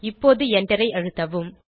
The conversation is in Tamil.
இப்போது எண்டரை அழுத்தவும்